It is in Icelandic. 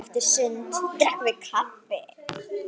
Eftir sund drekkum við kaffi.